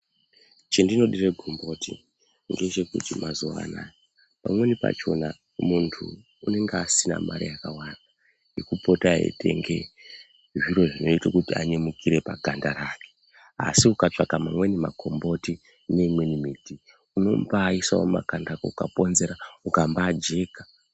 Chendinodire gomboti ngechekuti mazuwa anaya pamweni pachona muntu unonga asina mare yakawanda yekupota eitenge zviro zvinoita kuti anyemukire paganda rake. Asi ukatsvaka mamweni makomboti neimweni miti unombaaisawo makanda ukaponzera ukambaajeka.